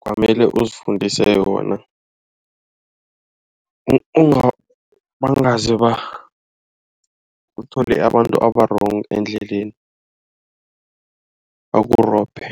kwamele uzifundise yona bangaze uthole abantu aba-wrong endleleni bakurobhe.